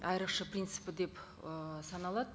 айрықша принципі деп ы саналады